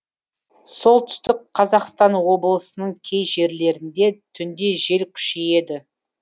солтүстік қазақстан облысының кей жерлерінде түнде жел күшейеді